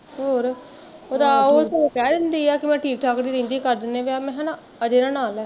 ਹੋਰ ਉਹ ਕਹਿ ਦਿੰਦੀ ਆ ਵੀ ਮੈਂ ਠੀਕ ਠਾਕ ਨੀ ਰਹਿੰਦੀ ਕਰ ਦਿੰਦੇ ਆ ਵੀਅਹ ਮੈਂ ਕਿਹਾਂ ਨਾ ਅਜੇ ਨਾ ਨਾਅ ਲੈ